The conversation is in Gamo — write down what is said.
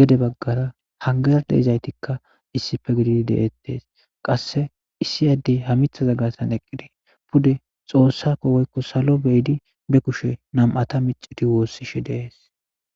gede bagara hanigera de'izasatika issipe gididi de'etes qase issi ade ha mithaza gaxan eqidi pude xoossako woy salo kushe michidi wosishe de'es